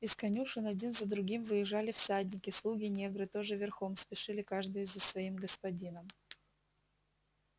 из конюшен один за другим выезжали всадники слуги-негры тоже верхом спешили каждый за своим господином